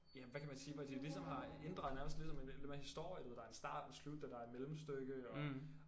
Ja hvad kan man sige hvor de ligesom har inddraget nærmest ligesom en en lidt mere historie du ved der en start en slut og der et mellemstykke og